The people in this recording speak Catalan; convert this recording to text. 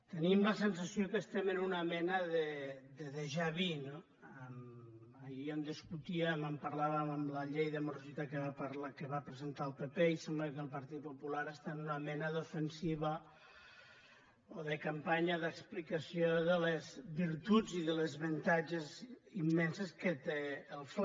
tenim la sensació que estem en una mena de déjà vu no ahir en discutíem en parlàvem amb la llei de morositat que va presentar el pp i sembla que el partit popular està en una mena d’ofensiva o de campanya d’explicació de les virtuts i dels avantatges immensos que té el fla